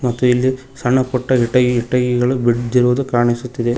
ಮತ್ತು ಇಲ್ಲಿ ಸಣ್ಣ ಪುಟ್ಟ ಇಟ್ಟಗಿ ಇಟ್ಟಿಗಿಗಳು ಬಿದ್ದಿರುವುದು ಕಾಣಿಸುತ್ತಿದೆ.